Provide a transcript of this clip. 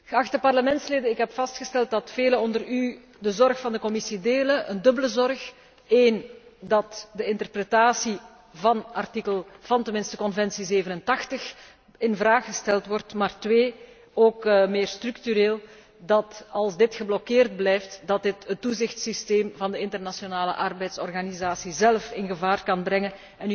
Geachte parlementsleden, ik heb vastgesteld dat velen onder u de zorg van de Commissie delen. Een dubbele zorg 1 dat de interpretatie van Conventie 87 ter discussie gesteld wordt, maar 2 ook meer structureel, dat als dit geblokkeerd blijft, dit het toezichtssysteem van de Internationale Arbeidsorganisatie zelf in gevaar kan brengen.